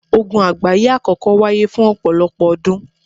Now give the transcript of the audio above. Ogun àgbáyé àkọ́kọ́ wáyé fún ọ̀pọ̀lọpọ̀ ọdún